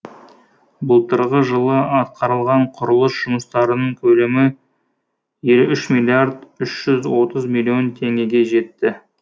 былтырғы жылы атқарылған құрылыс жұмыстарының көлемі елу үш миллиард үш жүз отыз миллион теңгеге жетті